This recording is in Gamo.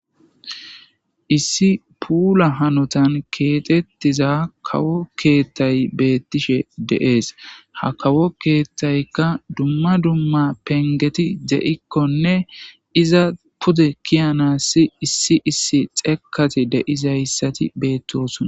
Issi puula hanotan keexettiza kawo keethtay beettishe deees ha kawo keethtaykka dumma dumma pengeti de'ikkonne iza pude kiyana si issi issi xeeekati deizayssati beettosona.